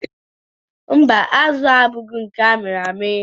Mba, azụ a abụghị nke amịrị amị.